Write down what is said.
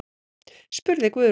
spurði Guðrún.